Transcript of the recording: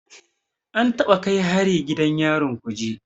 An taɓa kai hari gidan yarin Kuje